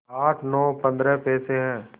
आठ नौ पंद्रह पैसे हैं